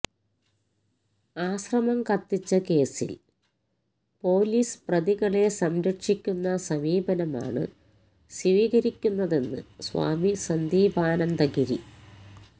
ആശ്രമം കത്തിച്ച കേസില് പൊലീസ് പ്രതികളെ സംരക്ഷിക്കുന്ന സമീപനമാണ് സ്വീകരിക്കുന്നതെന്ന് സ്വാമി സന്ദീപാനന്ദഗിരി